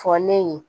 Fɔ ne ye